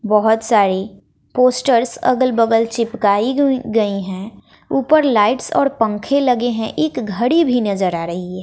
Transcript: बहोत सारी पोस्टर्स अगल बगल चिपकाई हुई गई हैं ऊपर लाइट्स और पंखे लगे हैं एक घड़ी भी नजर आ रही है।